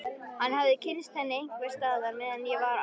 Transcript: Hann hafði kynnst henni einhvers staðar meðan ég var á